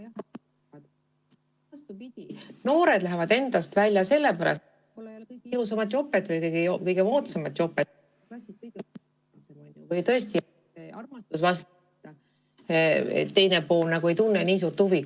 Vastupidi, noored lähevad endast välja sellepärast, et neil pole kõige ilusamat või kõige moodsamat jopet või pole nad klassis kõige populaarsemad või on tegemist vastamata armastusega, teine pool nagu ei tunne nii suurt huvi.